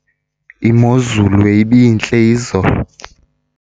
imozulu ibintle izolo